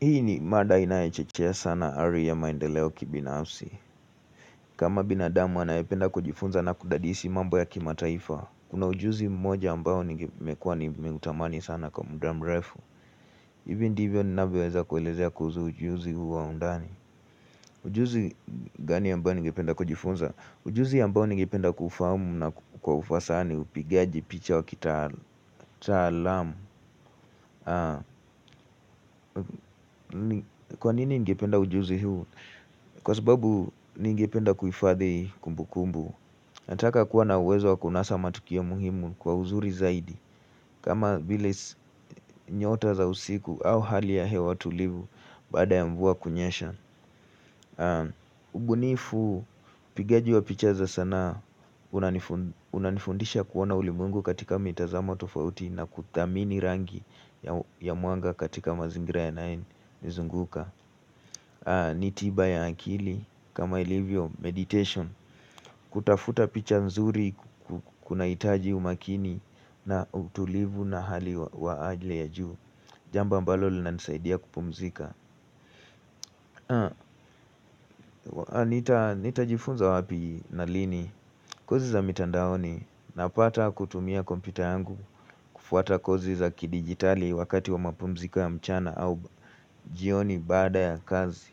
Hii ni mada inayochochea sana ari ya maendeleo kibinafsi. Kama binadamu anayependa kujifunza na kudadisi mambo ya kimataifa. Kuna ujuzi mmoja ambao nige mekwa nimeutamani sana kwa muda mrefu. Ivi ndivyo ninavyoweza kuelezea kuhuzu ujuzi huu wa undani. Ujuzi gani ambao nigependa kujifunza? Ujuzi ambao ningependa kuufahamu na kwa ufasaha ni upigaji picha wa kitaalamu. Kwa nini ngependa ujuzi huu? Kwa sababu ningependa kuhifadhi kumbukumbu. Nataka kuwa na uwezo wa kunasa matukio muhimu kwa uzuri zaidi. Kama vilis nyota za usiku au hali ya hewa tulivu bsada ya mvua kunyesha. Ubunifu pigaji wa pichaa za sanaa. Unanifundisha kuona ulimwengu katika mitazamo tofauti na kudhamini rangi ya mwanga katika mazingira yanayonizunguka. Ni tiba ya akili. Kama ilivyo meditation. Kutafuta picha mzuri. Kuna itaji umakini. Na utulivu na hali wa ajla ya juu. Jambo ambalo linanisaidia kupumzika. Nitajifunza wapi na lini. Kozi za mitandaoni. Napata kutumia kompyuta yangu. Kufuata kozi za kidigitali. Wakati wa mapumzika ya mchana au jioni baada ya kazi.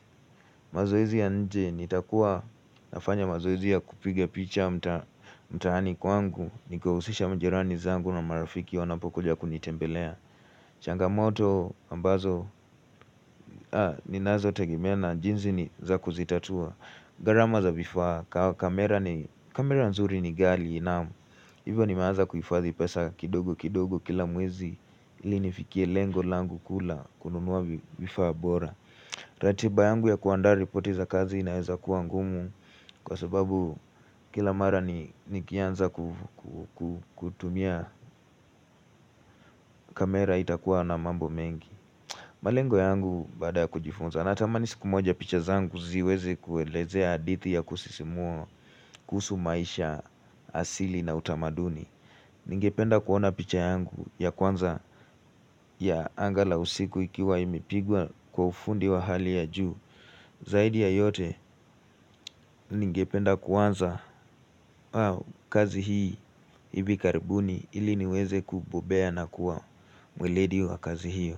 Mazoezi ya nje nitakuwa nafanya mazoezi ya kupige picha mtahani kwangu nikiwahusisha mjirani zangu na marafiki wanapokoja kunitembelea changamoto ambazo ninazotegemea na jinzi ni za kuzitatua garama za vifaa kamera nzuri ni gali inamu hivyo nimaaza kuifazi pesa kidogo kidogo kila mwezi ili nifikie lengo langu kuu la kununuwa vifaa bora ratiba yangu ya kuandaa ripoti za kazi inaeza kua ngumu. Kwa sababu kila mara nikianza kutumia kamera itakuwa na mambo mengi. Malengo yangu basda ya kujifunza. Natamani siku moja picha zangu ziweze kuelezea hadithi ya kusisimua kuhusu maisha asili na utamaduni. Ningependa kuona picha yangu ya kwanza ya anga la usiku ikiwa imipigwa kufundi wa hali ya ju. Zaidi ya yote ningependa kuanza kazi hii hivi karibuni ili niweze kububea na kuwa mwiledi wa kazi hiyo.